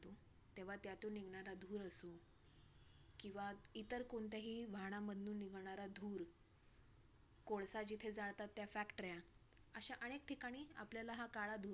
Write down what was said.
तेव्हा त्यातून निघणारा धूर असो किंवा इतर कोणत्याही वाहनांमधून निघणारा धूर कोळसा जिथे जाळतात त्या factories अशा अनेक ठिकाणी, आपल्याला हा काळा धूर